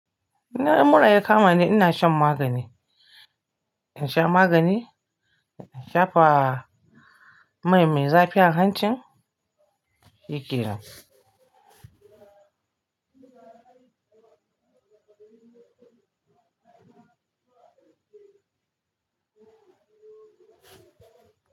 In mura ya kama ni, ina shan magani. In sha magani, in shafa mai mai zafi a hancin, hike nan.